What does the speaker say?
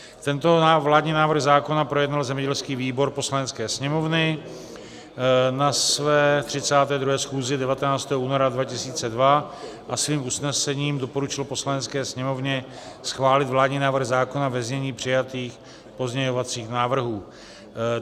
Tento vládní návrh zákona projednal zemědělský výbor Poslanecké sněmovny na své 32. schůzi 19. února 2002 a svým usnesením doporučil Poslanecké sněmovně schválit vládní návrh zákona ve znění přijatých pozměňovacích návrhů.